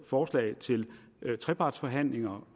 forslag til trepartsforhandlinger